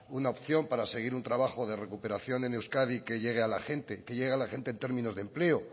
una opción para seguir un trabajo de recuperación en euskadi que llegue a la gente que llegue a la gente en términos de empleo